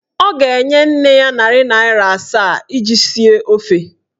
Ọ ga-enye nne ya narị naịra asaa iji sie ofe.